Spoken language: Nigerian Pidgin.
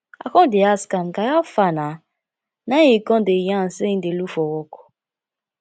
i con dey ask am guy hafa nah na im e con dey yarn sey im dey look for work